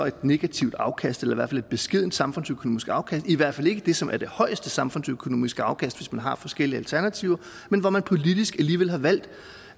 et negativt afkast eller i et beskedent samfundsøkonomisk afkast i hvert fald ikke det som er det højeste samfundsøkonomiske afkast hvis man har forskellige alternativer men hvor man politisk alligevel har valgt